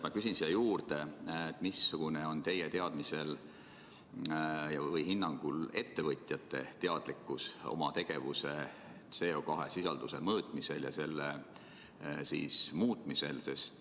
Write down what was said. Ma küsin siia juurde, et missugune on teie hinnangul ettevõtjate teadlikkus oma tegevuse CO2-sisalduse mõõtmisel ja selle muutmisel.